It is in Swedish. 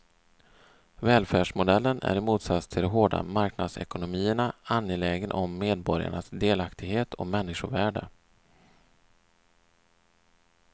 Välfärdsmodellen är i motsats till de hårda marknadsekonomierna angelägen om medborgarnas delaktighet och människovärde.